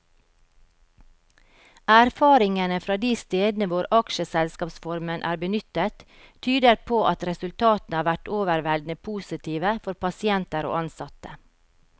Erfaringene fra de stedene hvor aksjeselskapsformen er benyttet, tyder på at resultatene har vært overveldende positive for pasienter og ansatte.